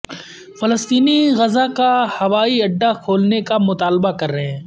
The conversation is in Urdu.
فلسطینی غزہ کا ہوائی اڈہ کھولنے کا مطالبہ کر رہے ہیں